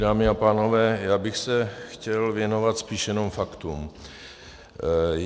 Dámy a pánové, já bych se chtěl věnovat spíše jen faktům.